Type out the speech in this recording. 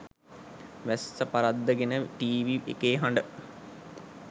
වැස්ස පරද්දගෙන ටීවි එකේ හඬ